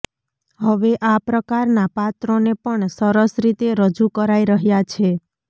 હવે આ પ્રકારના પાત્રોને પણ સરસ રીતે રજૂ કરાઇ રહ્યાં છે